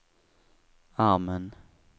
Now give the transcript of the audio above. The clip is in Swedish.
armen